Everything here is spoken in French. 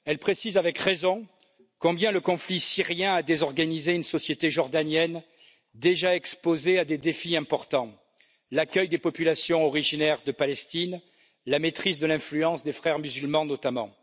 Elle précise avec raison combien le conflit syrien a désorganisé une société jordanienne déjà exposée à des défis importants l'accueil des populations originaires de Palestine et la maîtrise de l'influence des Frères musulmans, notamment.